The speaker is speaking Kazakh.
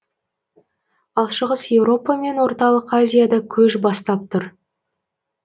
ал шығыс еуропа мен орталық азияда көш бастап тұр